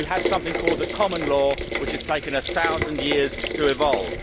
We have something called the common law which has taken a thousand years to evolve.